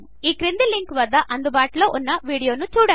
ఈ క్రింది లింక్ వద్ద అందుబాటులో ఉన్న వీడియోను చూడండి